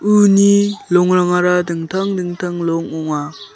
uni longrangara dingtang dingtang long ong·a.